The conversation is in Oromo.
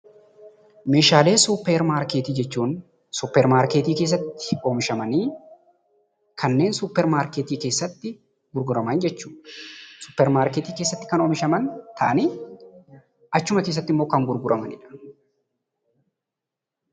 Meeshaalee suuppermaarkeetii jechuun meeshaalee suuppermaarkeetii keessatti hojjetamanii gurguraman jechuudha.